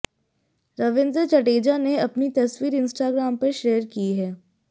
रविंद्र जडेजा ने अपनी तस्वीर इंस्ट्रागाम पर शेयर की है